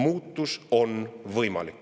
Muutus on võimalik.